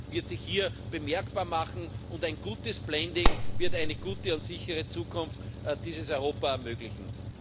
wird sich hier bemerkbar machen und ein gutes blending wird eine gute und sichere Zukunft für dieses Europa ermöglichen.